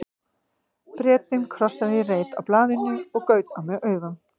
Bretinn krossaði í reit á blaðinu og gaut á mig augum.